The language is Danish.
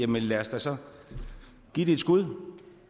men lad os da så give det et skud